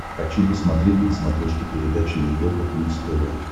хочу посмотреть на смотрешке передачу европа плюс тв